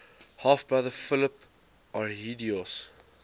half brother philip arrhidaeus